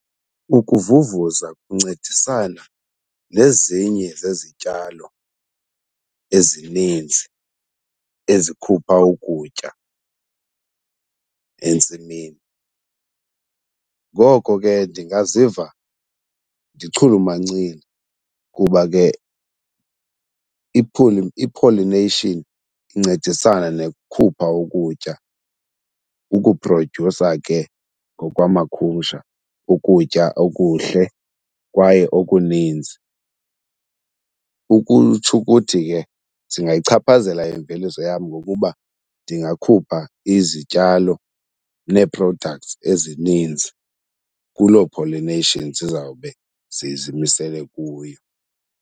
Ukuvuvuza kuncedisana nezinye zezityalo ezininzi ezikhupha ukutya entsimini. Ngoko ke ndingaziva ndichulumancile kuba ke i-pollination incedisana nekukhupha ukutya, ukuprodyusa ke ngokwamakhumsha ukutya, okuhle kwaye okuninzi. Ukutsho ukuthi ke zingayichaphazela imveliso yam ngokuba ndingakhupha izityalo nee-products ezininzi kuloo pollination zizawube zizimisele kuyo.